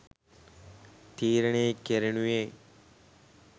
තීරණය කෙරෙනුයේ